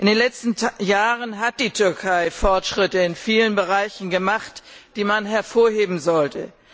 In den letzten Jahren hat die Türkei Fortschritte in vielen Bereichen gemacht, die man hervorheben sollte.